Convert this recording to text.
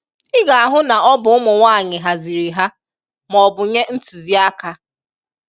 I ga-ahụ na ọ bụ ụmụnwaanyị haziri ha ma ọbụ nye ntụziaka.